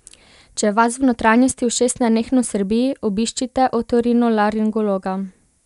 Če vas v notranjosti ušes nenehno srbi, obiščite otorinolaringologa.